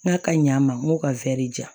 N k'a ka ɲ'a ma n k'o ka di yan